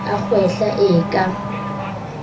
a kgwehla e e ka